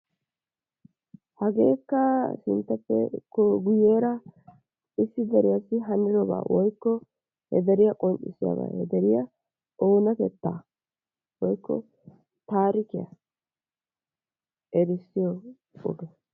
Hagekka sinttappeko guyeera issi deriyassi hanidaaba woykko he deriya qoncissiyaba he deriya oonatetta woykko taarikkiya erissoy wogga.